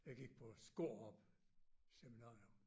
Jeg gik på Skårup Seminarium